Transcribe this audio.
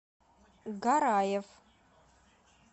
гараев